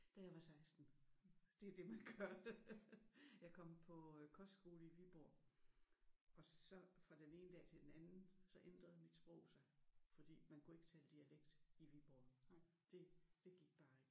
Da jeg var 16. Det er jo det man gør. Jeg kom på kostskole i Viborg og så fra den ene dag til den anden så ændrede mit sprog sig fordi man kunne ikke tale dialekt i Viborg. Det det gik bare ikke